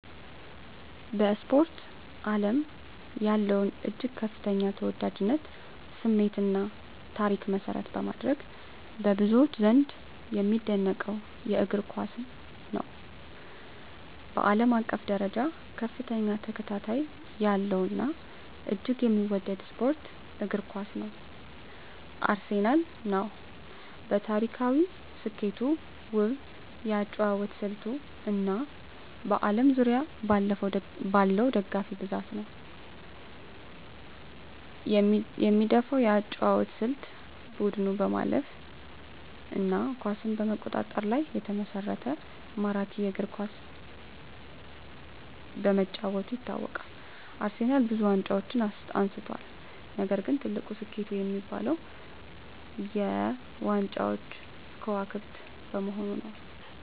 በስፖርት አለም ያለውን እጅግ ከፍተኛ ተወዳጅነት፣ ስሜት እና ታሪክ መሰረት በማድረግ፣ በብዙዎች ዘንድ የሚደነቀውን እግር ኳስን ነው። በአለም አቀፍ ደረጃ ከፍተኛ ተከታታይ ያለው እና እጅግ የሚወደደው ስፖርት እግር ኳስ ነው። አርሴናል ነው። በታሪካዊ ስኬቱ፣ ውብ የአጨዋወት ስልቱ እና በአለም ዙሪያ ባለው ደጋፊ ብዛት ነው። የምደፈው የአጨዋወት ስልት : ቡድኑ በማለፍ እና ኳስን በመቆጣጠር ላይ የተመሰረተ ማራኪ እግር ኳስ በመጫወቱ ይታወቃል። አርሴናልብዙ ዋንጫዎችን አንስቷል፣ ነገር ግን ትልቁ ስኬቱ የሚባለው -የ ዋንጫዎች ክዋክብት በመሆኑ ነዉ።